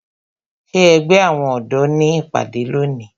Ṣé ẹgbẹ́ àwọn ọ̀dọ́ ní ìpàdé lónìí?